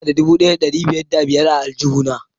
Ina da dubu daya da dari daya da biyar a aljuhu na.